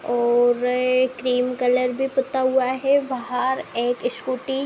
और cream colour भी पुता हुआ है बाहर एक स्‍कूटी --